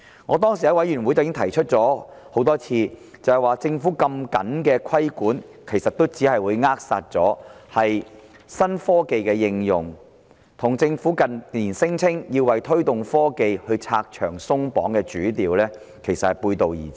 我在法案委員會曾多次提出，政府的規管這麼嚴謹，其實只會扼殺新科技的應用，與政府近年聲稱要為推動科技拆牆鬆綁的主調背道而馳。